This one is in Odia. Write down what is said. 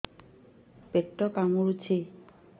ପେଟ କାମୁଡୁଛି